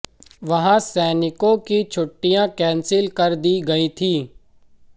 वहां सैनिकों की छुट्टियां कैंसिल कर दी गई थीं